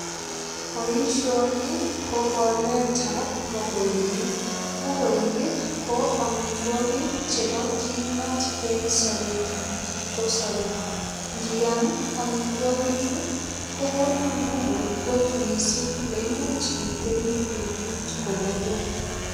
Boisioni ko koletab mogoinik. Migoinik ko amitwogik chebo kimnot eng sobet ab kipkosobei. Ngiam amitwogichu kokonin nguvu kot mising neimuch itebi betut komugul.